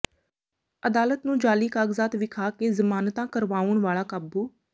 ਅਦਾਲਤ ਨੂੰ ਜਾਅਲੀ ਕਾਗਜ਼ਾਤ ਵਿਖਾ ਕੇ ਜ਼ਮਾਨਤਾ ਕਰਵਾਉਣ ਵਾਲਾ ਕਾਬੂ